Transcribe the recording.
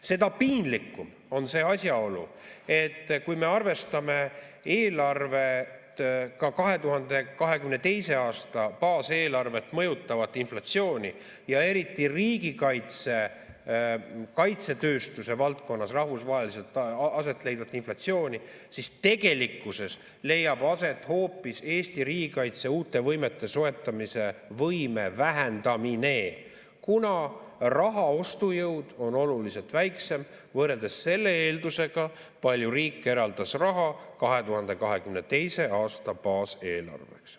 Seda piinlikum on see asjaolu, et kui me arvestame eelarvet, ka 2022. aasta baaseelarvet mõjutavat inflatsiooni, eriti riigikaitse ja kaitsetööstuse valdkonnas rahvusvaheliselt aset leidvat inflatsiooni, siis tegelikkuses leiab aset hoopis Eesti riigikaitse uute võimete soetamise võime vähendamine, kuna raha ostujõud on oluliselt väiksem võrreldes selle eeldusega, palju riik eraldas raha 2022. aasta baaseelarveks.